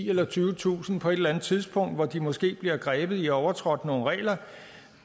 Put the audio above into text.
eller tyvetusind kroner på et eller andet tidspunkt hvor de måske bliver grebet i at have overtrådt nogle regler